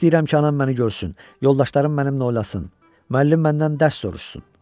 İstəyirəm ki anam məni görsün, yoldaşlarım mənimlə oynasın, müəllim məndən dərs soruşsun.